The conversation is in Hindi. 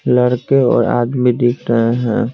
लड़के और आदमी दिख रहे हैं।